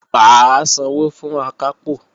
Mà á sanwó fún Akápò